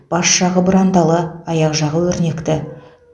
бас жағы бұрандалы аяқ жағы өрнекті